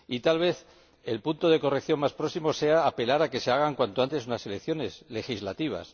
Y tal vez el modo de corrección más próximo sea apelar a que se celebren, cuanto antes, unas elecciones legislativas.